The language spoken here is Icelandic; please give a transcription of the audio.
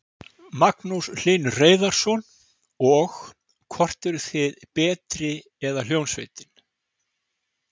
Magnús Hlynur Hreiðarsson: Og, hvort eruð þið betri eða hljómsveitin?